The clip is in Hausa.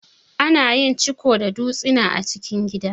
Ana yin ciko da dutsina a cikin gida.